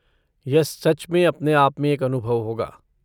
यह सच में अपने आप में एक अनुभव होगा।